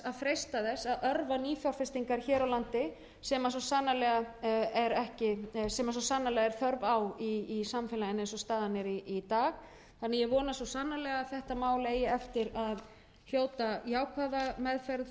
örva nýfjárfestingar hér á landi sem svo sannarlega er þörf á í samfélaginu eins og staðan er í dag þannig að ég vona svo sannarlega að þetta mál eigi eftir að hljóta jákvæða meðferð og niðurstöðu hjá iðnaðarnefnd þannig að við getum